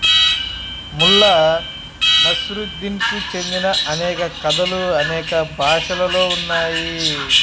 ముల్లా నస్రుద్దీన్ కు చెందిన అనేక కథలు అనేక భాషలలో ఉన్నాయి